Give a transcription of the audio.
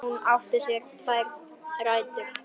Hún átti sér tvær rætur.